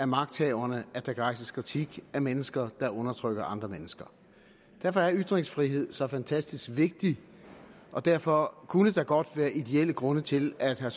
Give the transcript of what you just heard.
magthaverne at der kan rejses kritik af mennesker der undertrykker andre mennesker derfor er ytringsfriheden så fantastisk vigtig og derfor kunne der godt være ideelle grunde til at herre